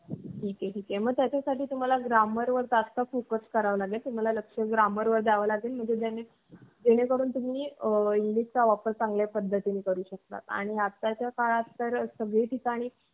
अस एका म्हणजे प्रत्येकाची पियासाची वगैरे batch वेगळी असते.आणि आमची police भरती वेगैरे ची वेगळीचं दीडशे च्या वरच पट असायचं कधी दीडशे म्हणजे कधी दोनशेच्यावर पन अस proper सांगू शकत नाय.